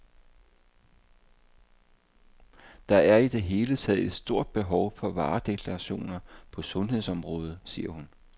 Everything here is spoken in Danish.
Der er i det hele taget et stort behov for varedeklarationer på sundhedsområdet, siger hun.